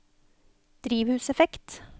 drivhuseffekt